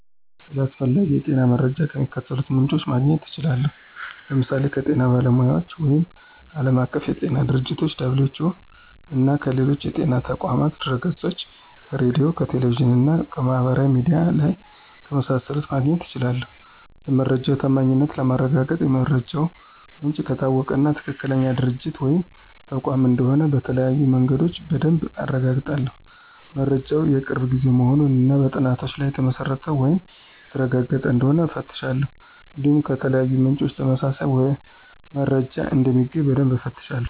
ስለ አስፈላጊ የጤና መረጃዎች ከሚከተሉት ምንጮች ማግኘት እችላለሁ፦ ለምሳሌ ከጤና ባለሙያዎች ወይም ዓለም አቀፍ የጤና ድርጅቶች - (WHO)፣ እና ከሌሎች የጤና ተቋማት ድህረገጾች፣ ከሬዲዮ፣ ከቴሌቪዥን እና ማህበራዊ ሚዲያ ላይ ከመሳሰሉት ማግኘት እችላለሁ። የመረጃው ታማኝነት ለማረጋገጥ የመረጃው ምንጭ ከታወቀ እና ትክክለኛ ድርጅት ወይም ተቋም እንደሆነ በተለያዩ መንገዶች በደንብ አረጋግጣለሁ። መረጃው የቅርብ ጊዜ መሆኑን እና በጥናቶች ላይ የተመሰረተ ወይም የተረጋገጠ እንደሆነ እፈትሻለሁ። እንዲሁም ከተለያዩ ምንጮች ተመሳሳይ መረጃ እንደሚገኝ በደንብ እፈትሻለሁ።